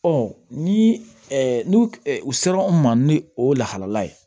ni n'u u sera n ma ni o ye lahala ye